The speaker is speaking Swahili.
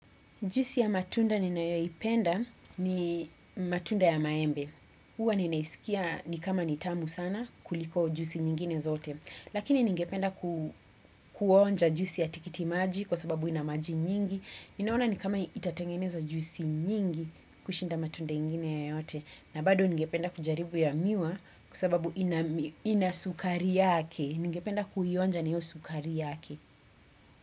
Juisi ya matunda ninayoyipenda ni matunda ya maembe. Huwa ninaisikia ni kama nitamu sana kuliko juisi nyingine zote. Lakini ningependa kuonja jusi ya tikiti maji kwa sababu ina maji nyingi. Ninaona ni kama itatengeneza juisi nyingi kushinda matunda nyingine yoyote. Na bado ningependa kujaribu ya miwa kwa sababu inasukari yake. Ningependa kuionja na hiyo sukari yake.